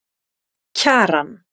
Kjaran